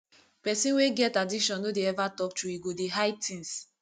pesin wey get addiction no dey ever talk true e go dey hide things